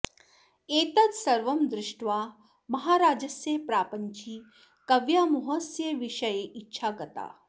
एतद् सर्वं दृष्ट्वा महाराजस्य प्रापञ्चिकव्यामोहस्य विषये इच्छा गता